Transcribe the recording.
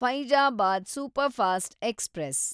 Faizabad superfast express